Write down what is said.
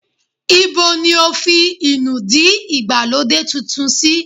Ibo ní o fi inúdí ìgbàlódé titun sì?